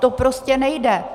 To prostě nejde!